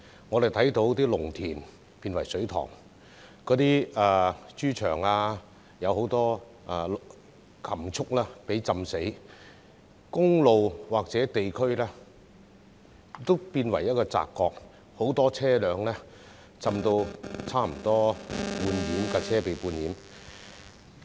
我們看到農田變成水塘、豬場水浸，很多禽畜被淹死，公路及某些地區變為澤國，而很多車輛更差不多被半淹。